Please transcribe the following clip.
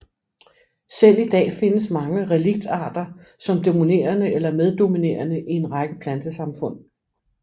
Selv i dag findes mange reliktarter som dominerende eller meddominerende i en række plantesamfund